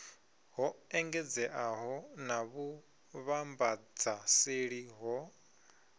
ho engedzeaho na vhuvhambadzaseli ho